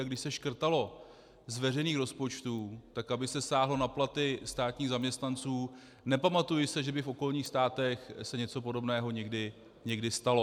A když se škrtalo z veřejných rozpočtů, tak aby se sáhlo na platy státních zaměstnanců - nepamatuji se, že by v okolních státech se něco podobného někdy stalo.